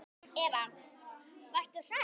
Eva: Varst þú hrædd?